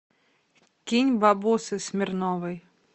кинь бабосы смирновой